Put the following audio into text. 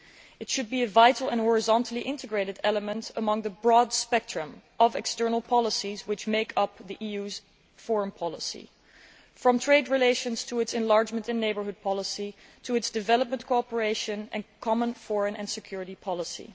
It should be a vital and horizontally integrated element among the broad spectrum of external policies which make up the EU's foreign policy, from trade relations to its enlargement and neighbourhood policy, and its development cooperation and common foreign and security policy.